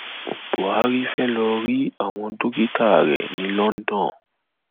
buhari fee lóò rí àwọn dókítà rẹ ní london